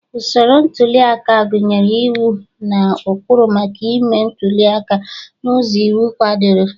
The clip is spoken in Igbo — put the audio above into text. Usoro ntuli aka gụnyere iwu na ụkpụrụ maka ịme ntuli aka n'ụzọ iwu kwadoro